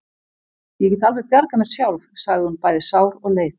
Ég get alveg bjargað mér sjálf, sagði hún, bæði sár og leið.